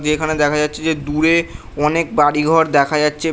যে এখানে দেখা যাচ্ছে যে দূরে অনেক বাড়িঘর দেখা যাচ্ছে।